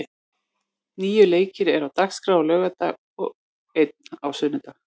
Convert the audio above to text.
Níu leikir eru á dagskrá á laugardag, en einn á sunnudag.